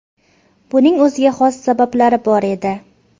Buning o‘ziga xos sabablari bor edi.